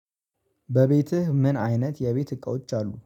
በቤትህ ምን አይነት የቤት እቃዎች አሉ?